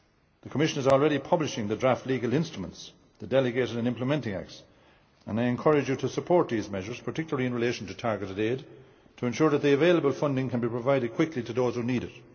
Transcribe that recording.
The Commission is already publishing the draft legal instruments, the delegated and implementing acts, and I encourage them to support these measures, particularly in relation to targeted aid, to ensure that the available funding can be provided quickly to those who need